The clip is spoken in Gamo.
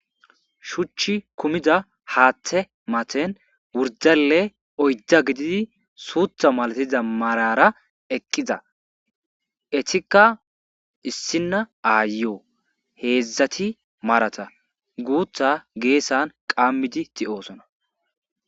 Shuchchi kumida haaththe maten wurdalle oyda gididi suutha malatiza marara eqqiza etikka issina aayoo heedzdzati marata guutha geessan qammidi ti7osona.